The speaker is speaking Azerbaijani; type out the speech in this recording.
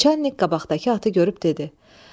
Naçalnik qabaqdakı atı görüb dedi: